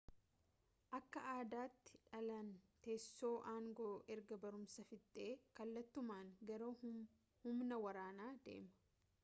akka aadaatti dhaalaan teessoo aangoo erga barumsa fixee kallattumaan gara humna waraanaa deema